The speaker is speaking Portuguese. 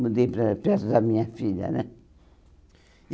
Mudei para perto da minha filha, né? E